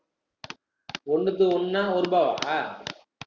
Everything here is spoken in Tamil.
ஒண்ணுத்துக்கு ஒண்ணா ஒரு ரூபாவா?